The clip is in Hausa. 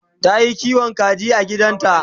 Tayi kiwon kaji a gidanta